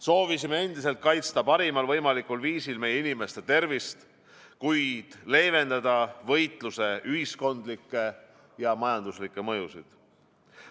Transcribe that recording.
Soovisime endiselt kaitsta parimal võimalikul viisil meie inimeste tervist, kuid leevendada võitluse ühiskondlikke ja majanduslikke mõjusid.